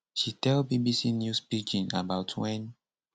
she tell bbc news pidgin about wen